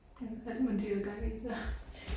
Ja hvad er det mon de har gang i så